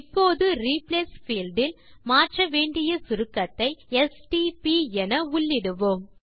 இப்போது replace field இல் மாற்ற வேண்டிய சுருக்கத்தை எஸ்டிபி என உள்ளிடுவோம்